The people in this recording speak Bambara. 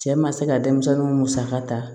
Cɛ ma se ka denmisɛnninw musaka ta